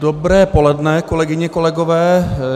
Dobré poledne, kolegyně, kolegové.